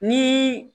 Ni